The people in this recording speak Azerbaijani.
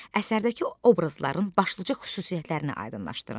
Əsərdəki obrazların başlıca xüsusiyyətlərini aydınlaşdırın.